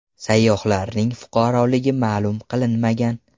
Sayyohlarning fuqaroligi ma’lum qilinmagan.